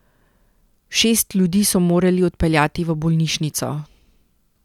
Šest ljudi so morali odpeljati v bolnišnico.